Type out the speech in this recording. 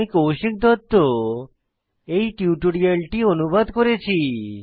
আমি কৌশিক দত্ত টিউটোরিয়ালটি অনুবাদ করেছি